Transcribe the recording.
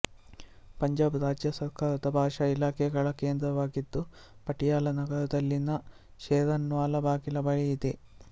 ಪಂಜಾಬ್ ರಾಜ್ಯ ಸರ್ಕಾರದ ಭಾಷಾ ಇಲಾಖೆ ಗಳ ಕೇಂದ್ರವಾಗಿದ್ದು ಪಟಿಯಾಲ ನಗರದಲ್ಲಿನ ಶೇರನ್ವಾಲ ಬಾಗಿಲ ಬಳಿ ಇದೆ